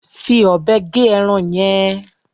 Fi ọ̀bẹ gé ẹran yẹn.